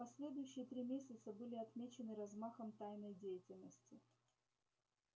последующие три месяца были отмечены размахом тайной деятельности